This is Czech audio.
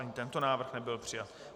Ani tento návrh nebyl přijat.